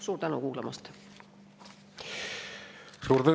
Suur tänu kuulamast!